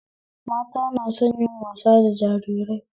Mata na son yin wasa da jarirai